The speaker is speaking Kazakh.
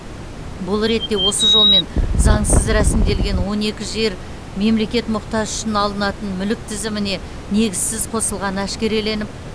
бұл ретте осы жолмен заңсыз рәсімделген он екі жер мемлекет мұқтажы үшін алынатын мүлік тізіміне негізсіз қосылғаны әшкереленіп